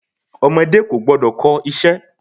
Ọmọdé kò gbọ́dọ̀ kọ iṣẹ́.